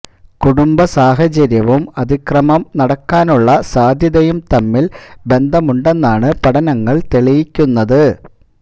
കുടുംബ സാഹചര്യവും അതിക്രമം നടക്കാനുള്ള സാധ്യതയും തമ്മില് ബന്ധമുണ്ടെന്നാണ് പഠനങ്ങള് തെളിയിക്കുന്നത്